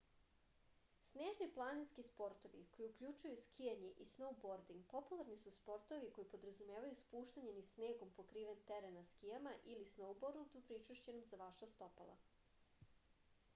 snežni planinski sportovi koji uključuju skijanje i snoubording popularni su sportovi koji podrazumevaju spuštanje niz snegom pokriven teren na skijama ili snoubordu pričvršćenom za vaša stopala